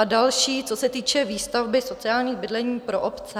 A další, co se týče výstavby sociálních bydlení pro obce.